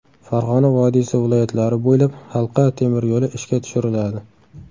Farg‘ona vodiysi viloyatlari bo‘ylab halqa temiryo‘li ishga tushiriladi.